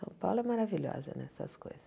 São Paulo é maravilhosa nessas coisas.